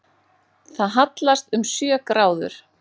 Það hallast um sjö gráður